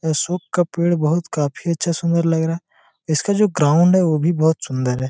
ये सुप का पेड़ बहोत काफी अच्छा सुंदर लग रहा है इसका जो ग्राउंड है वो भी बहोत सुंदर है।